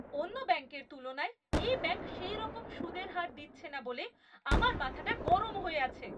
অন্য ব্যাংকের তুলনায় এই ব্যাংক সেইরকম সুদের হার দিচ্ছে না বলে আমার মাথাটা গরম হয়ে আছে।